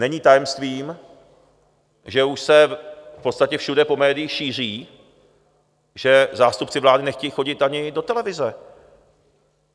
Není tajemstvím, že už se v podstatě všude po médiích šíří, že zástupci vlády nechtějí chodit ani do televize.